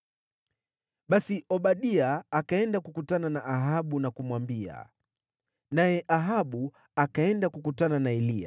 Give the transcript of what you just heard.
Basi Obadia akaenda kukutana na Ahabu na kumwambia, naye Ahabu akaenda kukutana na Eliya.